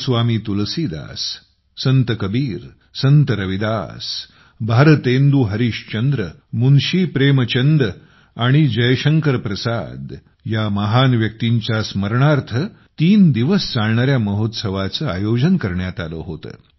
गोस्वामी तुलसीदास संत कबीर संत रविदास भारतेंदू हरिश्चंद्र मुन्शी प्रेमचंद आणि जयशंकर प्रसाद या महान व्यक्तींच्या स्मरणार्थ तीन दिवस चालणाऱ्या महोत्सवाचे आयोजन करण्यात आले होते